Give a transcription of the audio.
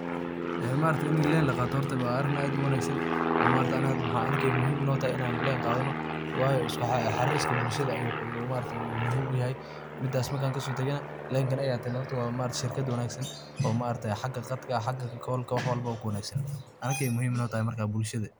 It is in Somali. Ee maaragtay ini leen la Qatoh, hoorta wa arin aad u wangsan oo maaragtay Anika maxa arkahay Ina muhim notahay in leen Qathanoo waayo iskuxarirka bulshada oo maargtahay muhim u yahay midas marki kasotagoh, leenka qaathato maargtahay sheerkat wanagsan maargtahay xaga Qadka xaga call kolka wax walbo kuwanagsanyahay Anika muhim notahay bulshada.